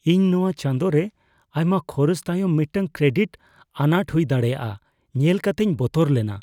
ᱤᱧ ᱱᱚᱶᱟ ᱪᱟᱸᱫᱚ ᱨᱮ ᱟᱭᱢᱟ ᱠᱷᱚᱨᱚᱪ ᱛᱟᱭᱚᱢ ᱢᱤᱫᱴᱟᱝ ᱠᱨᱮᱰᱤᱴ ᱟᱱᱟᱴ ᱦᱩᱭ ᱫᱟᱲᱮᱭᱟᱜᱼᱟ ᱧᱮᱞ ᱠᱟᱛᱮᱧ ᱵᱚᱛᱚᱨ ᱞᱮᱱᱟ ᱾